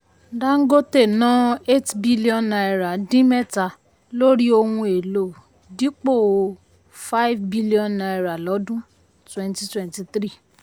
Dangote ná eight billion naira dín mẹ́ta lórí ohun èlò dipo five billion naira lọ́dún twenty twenty three